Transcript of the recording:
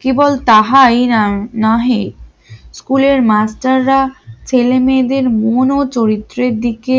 কি বলছাইনার নহে স্কুলের মাস্টাররা ছেলে মেয়েদের মন ও চরিত্রের দিকে